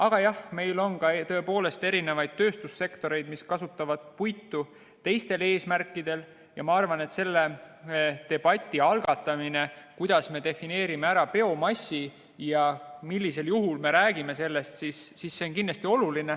Aga jah, meil on tõepoolest tööstussektoreid, mis kasutavad puitu teistel eesmärkidel ja ma arvan, et selle debati algatamine, kuidas me defineerime biomassi ja millisel juhul me sellest räägime, on kindlasti oluline.